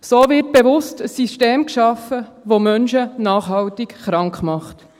So wird bewusst ein System geschaffen, welches Menschen nachhaltig krank macht.